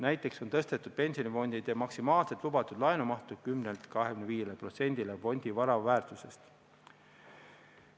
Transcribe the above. Näiteks on tõstetud pensionifondide maksimaalset lubatud laenumahtu 10%-lt 25%-le fondi vara väärtusest.